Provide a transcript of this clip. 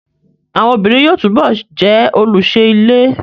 Àwọn obìnrin yóò túbọ̀ jẹ́ olùṣe ilé